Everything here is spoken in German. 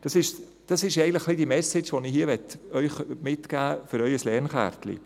Dies ist eigentlich die Message, die ich Ihnen für Ihre Lernkärtchen mitgeben möchte.